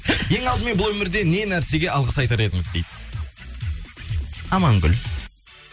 ең алдымен бұл өмірде не нәрсеге алғыс айтар едіңіз дейді амангүл